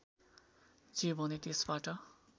जे भने त्यसबाट